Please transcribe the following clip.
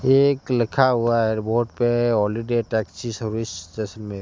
एक लिखा हुआ एयरपोर्ट पे हॉलीडे टैक्सी सर्विस जैसलमेर।